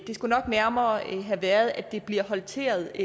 skulle nok nærmere have været at det bliver håndteret